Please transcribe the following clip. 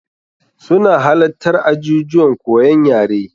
Su na halattar ajijuwan koyon yare.